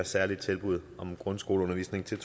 et særligt tilbud om en grundskoleundervisning til